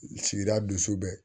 Sigida dusu bɛ